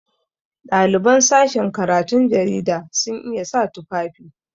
Ɗaliban sashin karatun jarida sun iya sa tufafi.